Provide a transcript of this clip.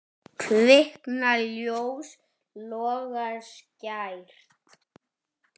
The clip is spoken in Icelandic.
Kviknar ljós, logar skært.